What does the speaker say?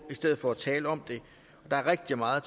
i stedet for at tale om det der er rigtig meget